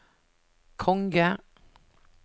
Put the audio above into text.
konge